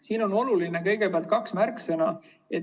Siin on olulised kaks märksõna.